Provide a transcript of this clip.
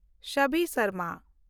ᱥᱟᱵᱤ ᱥᱚᱨᱢᱟ